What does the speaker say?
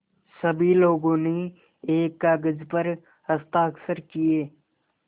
सभी लोगों ने एक कागज़ पर हस्ताक्षर किए